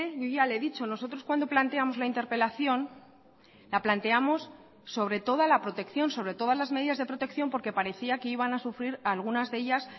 yo ya le he dicho nosotros cuando planteamos la interpelación la planteamos sobre toda la protección sobre todas las medidas de protección porque parecía que iban a sufrir algunas de ellas